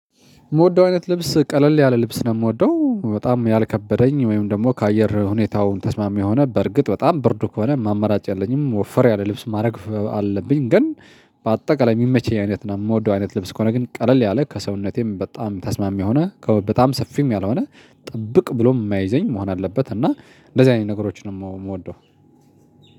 የምወደው አይነት ልብስ ቀለል ያለ ልብስ ነው የምወደው በጣም ያልከበደኝ ወይም ደግሞ ከአየር ሁኔታው ተስማሚ የሆነ በርግጥ በጣም ብርዱ ከሆነ ማመራጫ የለኝም ወፈር ያለ ልብስ ማድረግ አለብኝ ግን። በአጠቃላይ የሚመች አይነት ነው የምወደው አይነት ልብስ ከሆነ ግን ቀለል ያለ ከሰውነቴም በጣም ተስማሚ ሆነ ከ በጣም ሰፊም ያልሆነ ጠብቅ ብሎ የማያይዘኝ መሆን አለበት እና እንደዚህ አይነት ነገሮችን ነው የምወደው።